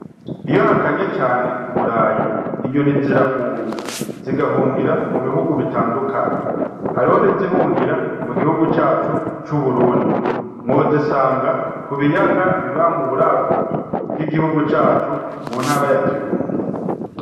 Iyo hakanye cane iburayi inyoni zirahunga zigahungira mu bihugu bitandukanye hariho nii zihungira mu gihugu cacu c'uburundi mwozisanga ku biyaga biba mu buraruko bw'igihugu cacu mu ntara ya kirundo.